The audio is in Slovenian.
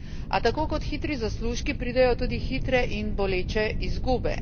A tako kot hitri zaslužki pridejo tudi hitre in boleče izgube.